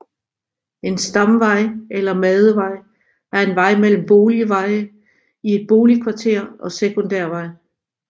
En stamvej eller madevej er en vej mellem boligveje i et boligkvarter og sekundærvej